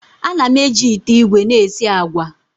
Ana m eji ite igwe na esi agwa.